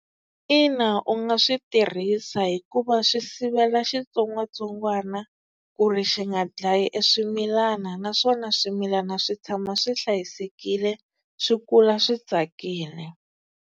Ina u nga swi tirhisa hikuva swi sivela xitsongwatsongwana ku ri xi nga dlayi e swimilana, naswona swimilana swi tshama swi hlayisekile swi kula swi tsakile.